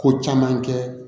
Ko caman kɛ